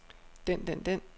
den den den